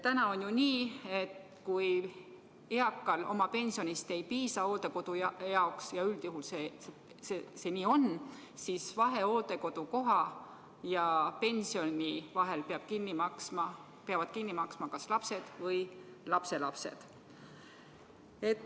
Täna on ju nii, et kui eakal oma pensionist hooldekodu jaoks ei piisa – ja üldjuhul see nii on –, siis vahe hooldekodukoha ja pensioni vahel peavad kinni maksma kas lapsed või lapselapsed.